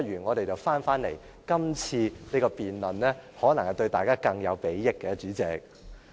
我們不如返回今次的辯論，可能對大家更有裨益，代理主席。